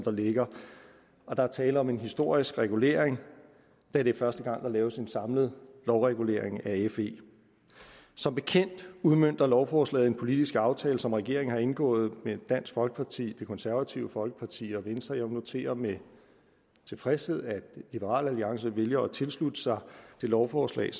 ligger og der er tale om en historisk regulering da det er første gang der laves en samlet lovregulering af fe som bekendt udmønter lovforslaget en politisk aftale som regeringen har indgået med dansk folkeparti det konservative folkeparti og venstre jeg noterer med tilfredshed at liberal alliance vælger at tilslutte sig det lovforslag